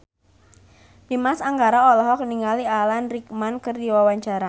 Dimas Anggara olohok ningali Alan Rickman keur diwawancara